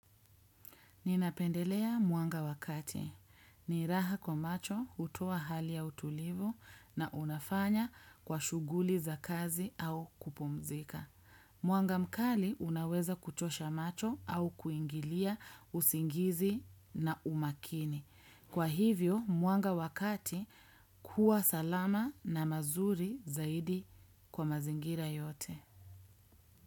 Ninapendelea mwanga wa kati. Niraha kwa macho hutoa hali ya utulivu na unafanya kwa shughuli za kazi au kupumzika. Mwanga mkali unaweza kuchosha macho au kuingilia usingizi na umakini. Kwa hivyo, mwanga wa kati huwa salama na mazuri zaidi kwa mazingira yote.